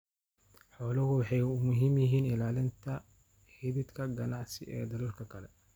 Xooluhu waxay muhiim u yihiin ilaalinta xidhiidhka ganacsi ee dalalka kale.